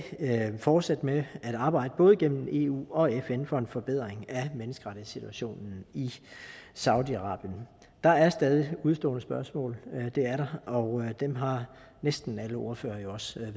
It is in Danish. fortsætte med at arbejde både gennem eu og fn for en forbedring af menneskerettighedssituationen i saudi arabien der er stadig udestående spørgsmål det er der og dem har næsten alle ordførere jo også